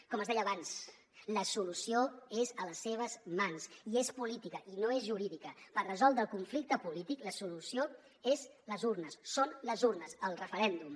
com els deia abans la solució és a les seves mans i és política i no és jurídica per resoldre el conflicte polític la solució són les urnes el referèndum